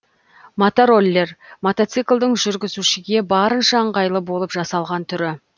мотороллер мотоциклдің жүргізушіге барынша ыңғайлы болып жасалған түрі